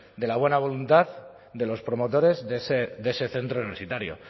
de la buena voluntad de los promotores de ese centro universitario